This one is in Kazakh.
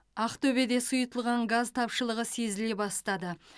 ақтөбеде сұйытылған газ тапшылығы сезіле бастады